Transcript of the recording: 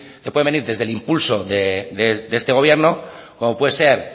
pueden venir del impulso de este gobierno como puede ser